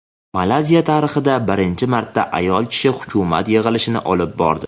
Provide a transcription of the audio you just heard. Malayziya tarixida birinchi marta ayol kishi hukumat yig‘ilishini olib bordi.